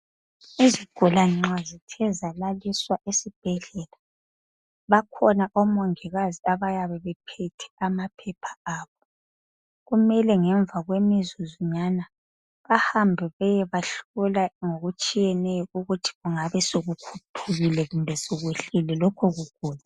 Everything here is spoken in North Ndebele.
Izigulane nxa zithe zalaliswa esibhedlela. Bakhona omongikazi abayabe bephethe amaphepha abo. Kumele ngemva kwemizuzwanyana, bahambe bayebahlola, ngokutshiyeneyo, ukuthi kungabe sekukhuphukile , kumbe sekwehlile, lokho kugula.